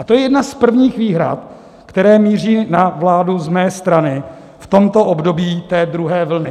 A to je jedna z prvních výhrad, které míří na vládu z mé strany v tomto období té druhé vlny.